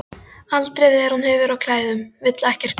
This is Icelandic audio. Aldrei þegar hún hefur á klæðum, vill ekkert gums.